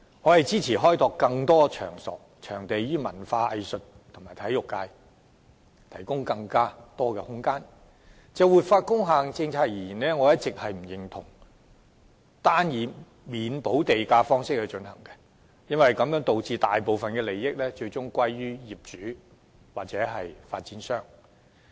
我支持開拓更多場地，讓文化藝術及體育界有更多發展空間，但卻一直不認同政府採取單以免補地價方式實施活化工廈政策，致使大部分利益最終歸於業主或發展商。